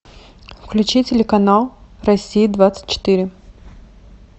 включи телеканал россия двадцать четыре